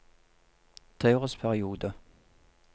treårsperiode